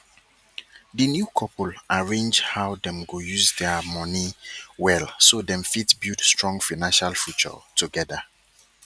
di new couple arrange how dem go use their money well so dem fit build strong financial future together